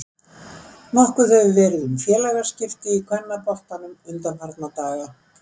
Nokkuð hefur verið um félagaskipti í kvennaboltanum undanfarna daga.